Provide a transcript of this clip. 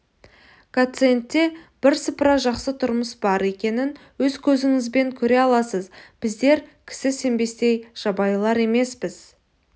гациендте бірсыпыра жақсы тұрмыс бар екенін өз көзіңізбен көре аласыз біздер кісі сенбестей жабайылар емеспіз